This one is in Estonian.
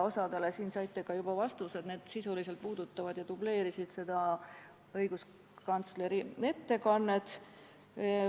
Osale küsimustele saite ka juba vastused, need sisuliselt dubleerisid õiguskantsleri ettekannet.